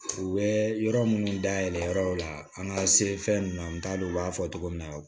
U bɛ yɔrɔ minnu dayɛlɛ yɔrɔ o la an ka se fɛn ninnu na n t'a dɔn u b'a fɔ cogo min na